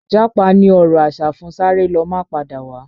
Japa ni ọ̀rọ̀ asa fún sáré lọ má padà wá